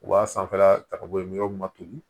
U b'a sanfɛla ta ka bɔ yen ma toli